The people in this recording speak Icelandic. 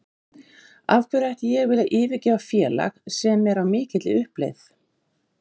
Af hverju ætti ég að vilja yfirgefa félag sem er á mikilli uppleið?